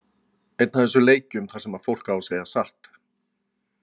Einn af þessum leikjum þar sem fólk á að segja satt.